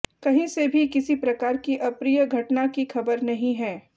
कहीं से भी किसी प्रकार की अप्रिय घटना की खबर नहीं है